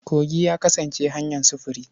Kogi ya kasance hanyar sufuri.